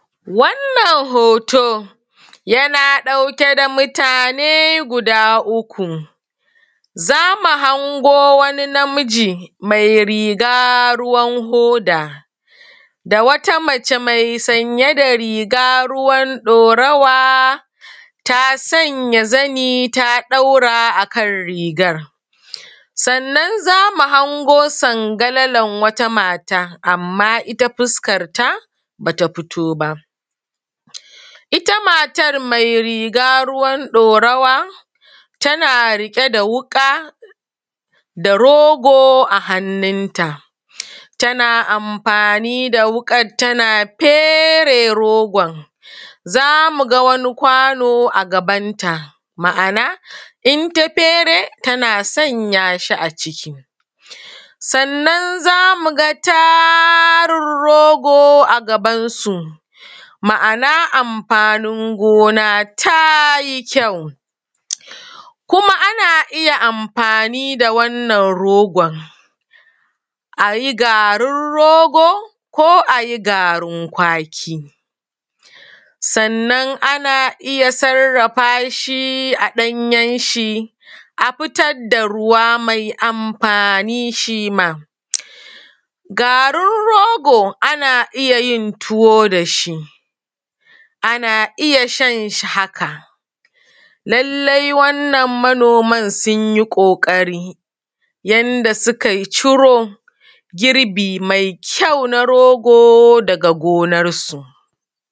Wannan hoto, yana ɗauke da mutane guda uku, zamu hango wani namiji, mai riga ruwan hoda, da wata mace mai sanye da riga ruwan ɗorawa ta sanya zani ta ɗaura akan rigar. Sannan zamu hango sangalalan wata mata, amma ita fuskar ta bata fito ba. Ita matar mai riga ruwan ɗorawa tana riƙe da wuƙa da rogo a hannun ta, tana amfani da wuƙan tana fere rogon, zamu ga wani kwano a gaban ta, ma’ana, in ta fere tana sanya shi aciki. Sannan zamu ga tarin rogo a gabansu, ma’ana, amfanin gona ta yi kyau. Kuma ana iya amfani da wannan rogon, a yi garin rogo ko a yi garin kwaki, sannan ana iya sarrafa shi a ɗanyen shi a fitar da ruwa mai amfani shi ma. Garin rogo ana iya yin tuwo da shi, ana iya shan shi haka. Lallai wannan manoman sun yi ƙoƙari yanda suka yi ciro, girbi mai kyau daga gonarsu.